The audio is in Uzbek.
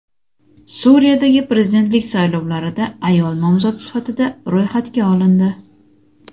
Suriyadagi prezidentlik saylovlarida ayol nomzod sifatida ro‘yxatga olindi.